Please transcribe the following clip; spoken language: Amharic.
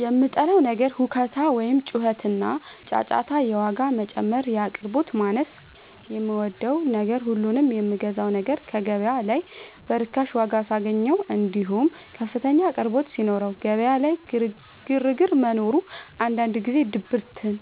የምጠላው ነገር ሁካታ ወይም ጩኸትና ጫጫታ የዋጋ መጨመር የአቅርቦት ማነስ የምወደው ነገር ሁሉንም የምገዛውን ነገር ገበያ ላይ በርካሽ ዋጋ ሳገኘው እንዲሁም ከፍተኛ አቅርቦት ሲኖረው ገበያ ላይ ግርግር መኖሩ አንዳንድ ጊዜ ድብርትን